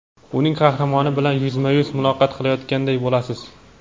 uning qahramoni bilan yuzma-yuz muloqot qilayotganday bo‘lasiz.